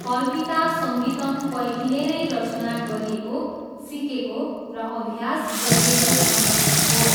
कल्पिता सङ्गीतम पहिले नै रचना गरिएको, सिकेको र अभ्यास गरिएको सङ्गीत हो।